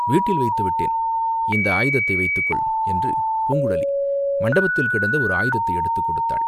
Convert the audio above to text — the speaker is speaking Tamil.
வீட்டில் வைத்து விட்டேன்." இந்த ஆயுதத்தை வைத்துக்கொள்!" என்று பூங்குழலி மண்டபத்தில் கிடந்த ஓர் ஆயுதத்தை எடுத்துக் கொடுத்தாள்.